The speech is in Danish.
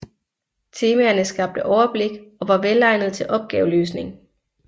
Temaerne skabte overblik og var velegnede til opgaveløsning